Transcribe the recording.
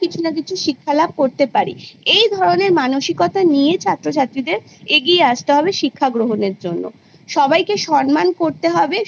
কিছুনা কিছু শিক্ষা লাভ করতে পারি এই ধরণের মানসিকতা নিয়ে ছাত্র ছাত্রীদের এগিয়ে আসতে হবে শিক্ষা গ্রহণের জন্য সবাইকে সন্মান করতে হবে